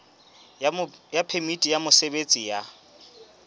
ya phemiti ya mosebetsi ya